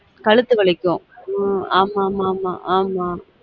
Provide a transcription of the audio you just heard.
கழுத்து வழிக்கும உம் ஆமாமா ஆமா